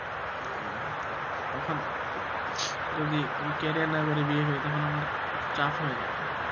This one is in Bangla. তখন যদি আমি career না করি বিয়ে করি তখন আমার খুব চাপ হয়ে যাবে।